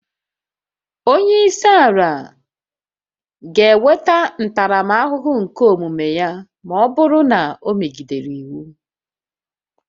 Onye isi ala ga-enweta ntaramahụhụ nke omume ya ma ọ bụrụ na o megidere iwu